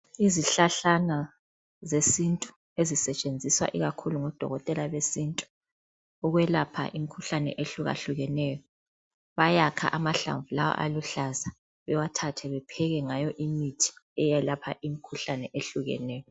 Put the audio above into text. Izihlahlana zesintu ezisetshenziswa ikakhulu ngodokotela besintu ukwelapha imkhuhlane ehlukahlukeneyo. Bayakha amahlamvu lawa aluhlaza bewathathe bepheke ngawo imithi eyelapha imkhuhlane eyehlukeneyo